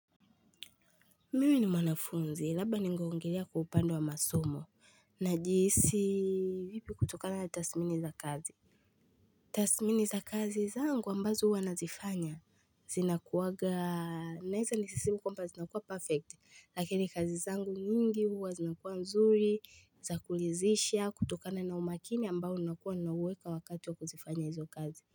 Mimi ni mwanafunzi labda ningeongelea kwaupande wa masomo na jihisi vipi kutokana na tathmini za kazi Tathmini za kazi zangu ambazo huwa nazifanya zinakuwaga naweza nisiseme kwamba zinakuwa perfect lakini kazi zangu nyingi huwa zinakuwa nzuri za kuridhisha kutokana na umakini ambao nakuwa na uweka wakati wa kuzifanya hizo kazi.